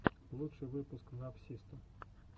лучший выпуск навсисто